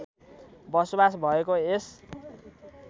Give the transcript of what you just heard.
बसोबास भएको यस